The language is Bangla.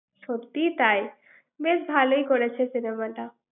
সত্যিই তাই বেশ ভালই করেছে cinema টা ৷